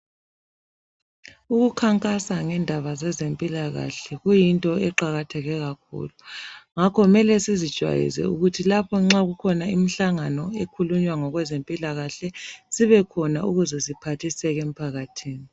Ukukhankasa ngendaba zezimpilakahle kuyinto eqakatheke kakhulu. Ngakho mele sizijayeze ukuthi lapho nxa ikhona imihlangano ekhulunywa ngezempilakahle sibe khona ukuze siphathiseke emphakathini.